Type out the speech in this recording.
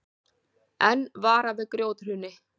Enn varað við grjóthruni